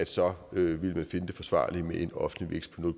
så vil man finde det forsvarligt med en offentlig vækst på